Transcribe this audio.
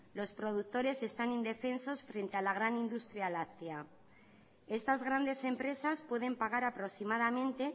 los productores están indefensos frente a la gran industria láctea estas grandes empresas pueden pagar aproximadamente